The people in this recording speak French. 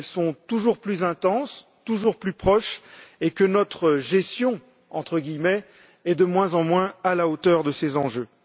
Elles sont toujours plus intenses, toujours plus proches, et notre gestion est de moins en moins à la hauteur de ces enjeux.